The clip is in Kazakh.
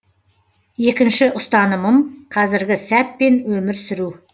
екінші ұстанымым қазіргі сәтпен өмір сүру